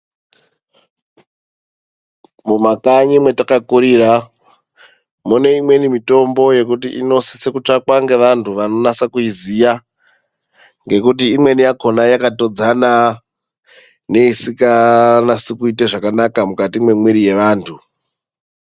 Mumakanyi mwatakakurira mune imweni mitombo yekuti inosisa kutsvakwa ngevantu vanonasa kuiziya ngekuti imweni yakona yakatodzana ngeisikanasi kuita zvakanaka mukati mwemwiri yavantu.